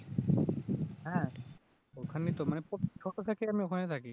হ্যাঁ ওখানে তো মানে ছোট থেকে আমি ওখানে থাকি